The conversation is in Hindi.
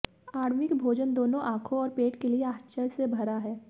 आण्विक भोजन दोनों आंखों और पेट के लिए आश्चर्य से भरा है